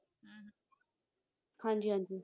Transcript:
ਹਾਂਜੀ ਹਾਂਜੀ